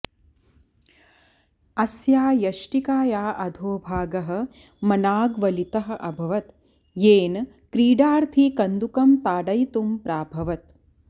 अस्या यष्टिकाया अधोभागः मनाग् वलितः अभवद् येन क्रीडार्थी कन्दुकं ताडयितुं प्राभवत्